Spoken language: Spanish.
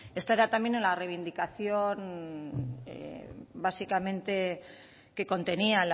esta era también en la reivindicación básicamente que contenía